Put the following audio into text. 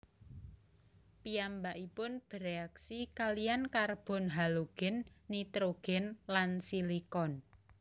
Piyambakipun bèreaksi kaliyan karbon halogen nitrogen lan silikon